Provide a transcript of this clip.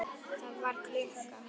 Það var klukka.